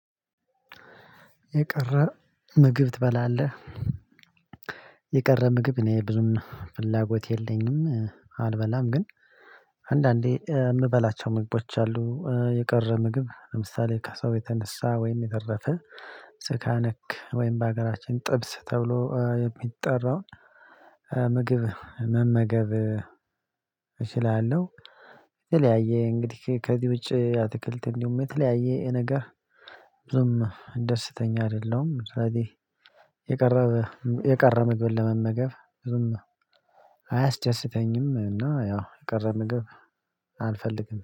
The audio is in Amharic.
የቀረ ምግብ ትበላለህ? የቀረ ምግብ እኔ ብዙም ፍላጎት የለኝም አልበላም ግን አንዳንዴ የምበላቸው ምግቦች አሉ የቀረ ምግብ ለምሳሌ ከሰው የተነሳ ወይም የተረፈ ስጋ ነክ ወይም በሀገራችን ጥብስ ተብሎ የሚጠራውን ምግብ መመገብ እችላለሁ። የተለያየ እንግዲህ ከዚህ ውጪ አትክልት እንዲሁም የተለያየ ነገር ብዙም ደስተኛ አይደለሁም። ስለዚህ የቀረ የቀረ ምግብ ለመመገብ ብዙም አያስደስተኝም እና ያው የቀረ ምግብ አልፈልግም